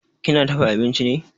Kina dafa abinchi ne?